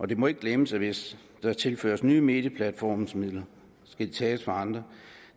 det må ikke glemmes at hvis der tilføres nye medieplatforme midler skal de tages fra andre